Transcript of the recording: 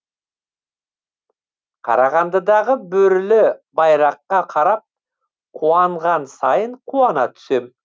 қарағандыдағы бөрілі байраққа қарап қуанған сайын қуана түсем